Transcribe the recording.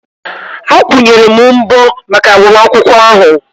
Akwụnyere m mbọ maka agbamakwụkwọ ahụ